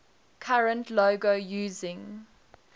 current logo using